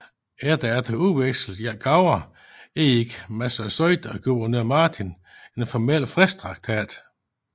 Efter at have udvekslet gaver indgik Massasoit og guvernør Martin en formel fredstraktat